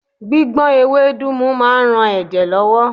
Gbígbọ́n ewédú mu máa ń ran ẹ̀jẹ̀ lọ́wọ́.